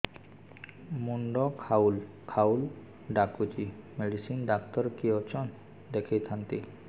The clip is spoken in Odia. ମୁଣ୍ଡ ଖାଉଲ୍ ଖାଉଲ୍ ଡାକୁଚି ମେଡିସିନ ଡାକ୍ତର କିଏ ଅଛନ୍ ଦେଖେଇ ଥାନ୍ତି